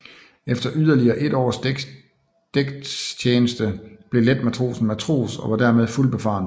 Efter yderligere et års dækstjeneste blev letmatrosen matros og var dermed fuldbefaren